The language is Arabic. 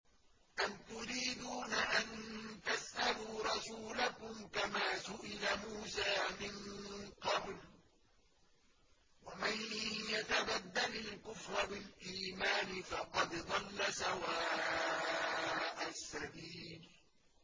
أَمْ تُرِيدُونَ أَن تَسْأَلُوا رَسُولَكُمْ كَمَا سُئِلَ مُوسَىٰ مِن قَبْلُ ۗ وَمَن يَتَبَدَّلِ الْكُفْرَ بِالْإِيمَانِ فَقَدْ ضَلَّ سَوَاءَ السَّبِيلِ